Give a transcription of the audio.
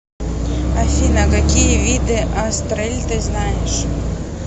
афина какие виды астрель ты знаешь